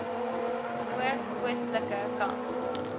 noord oostelike kant